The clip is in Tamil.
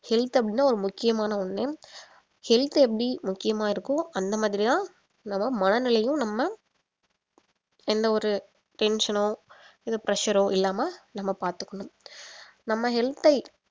health அப்படின்னா ஒரு முக்கியமான ஒண்ணு health எப்படி முக்கியமா இருக்கோ அந்த மாதிரி தான் நம்ம மனநிலையையும் நம்ம எந்த ஒரு tension உம் இது pressure உ இல்லாம நம்ம பாத்துக்கணும் நம்ம health ஐ